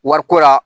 Wariko la